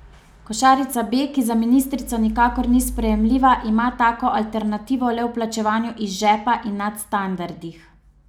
Košarica B, ki za ministrico nikakor ni sprejemljiva, ima tako alternativo le v plačevanju iz žepa in nadstandardih.